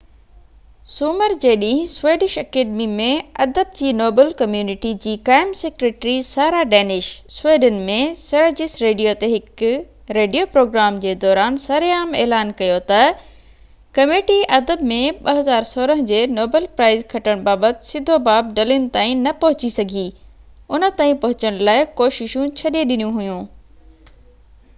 سومر جي ڏينهن سويڊش اڪيڊمي ۾ ادب جي نوبل ڪميونٽي جي قائم secretary Sara Danius Sweden ۾ Sveriges radio تي هڪ ريڊيو پروگرام جي دوران سرعام اعلان ڪيو تہ ڪميٽي ادب ۾ 2016 جي نوبل پرائز کٽڻ بابت سڌو باب ڊلن تائين نہ پهچي سگهي ان تائين پهچڻ لاءِ ڪوششون ڇڏي ڏنيون هيون